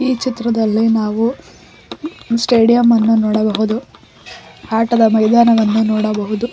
ಈ ಚಿತ್ರದಲ್ಲಿ ನಾವು ಸ್ಟೇಡಿಯಮ್ ಅನ್ನು ನೋಡಬಹುದು ಆಟದ ಮೈದಾನವನ್ನು ನೋಡಬಹುದು.